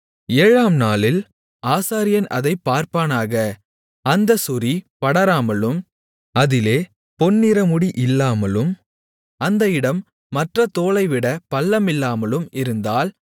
ஏழாம்நாளில் ஆசாரியன் அதைப் பார்ப்பானாக அந்தச் சொறி படராமலும் அதிலே பொன்நிறமுடி இல்லாமலும் அந்த இடம் மற்றத் தோலைவிட பள்ளமில்லாமலும் இருந்தால்